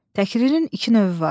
Təkrarın iki növü var.